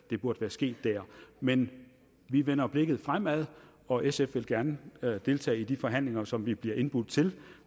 det burde være sket der men vi vender blikket fremad og sf vil gerne deltage i de forhandlinger som vi bliver indbudt til